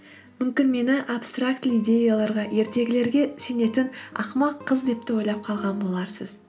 мүмкін мені абстрактілі идеяларға ертегілерге сенетін ақымақ қыз деп те ойлап қалған боларсыз